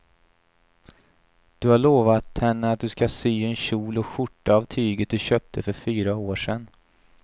Du har lovat henne att du ska sy en kjol och skjorta av tyget du köpte för fyra år sedan.